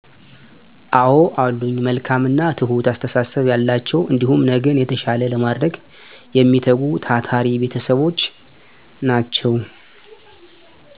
አወ አሉኝ መልካም እና ትሁት አስተሳሰብ ያላቸው እንዲሁም ነገን የተሻለ ለማድረግ የሚተጉ ታታሪ ቤተሰቦች ናቸው።